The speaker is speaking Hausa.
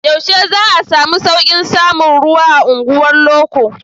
Yaushe za a samu sauƙin samun ruwa a unguwar loko?